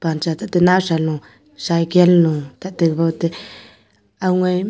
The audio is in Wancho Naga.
panchatete nawsa lo cykle lo tate wote owngoi